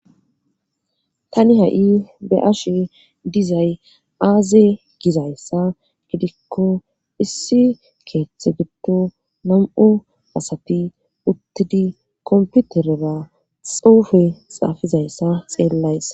Tani ha'i be ashe dizay aaze gizayssa gidikko issi keeththe giddo nam'o asati uttidi komputerera xuufe xaafizayssa xeellayssa